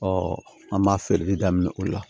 an b'a feereli daminɛ o la